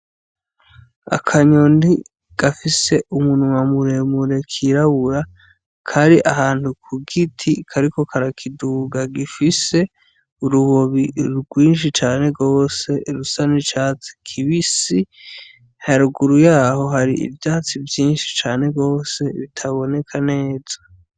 Akanyoni gafise umunwa muremure k'irabura kari ahantu ku giti, kariko karakiduga, gifise urubobi rwinshi cane gose rusa n'icatsi kibisi. Haruguru y'aho hari ivyatsi vyinshi cane gose bitaboneka neza.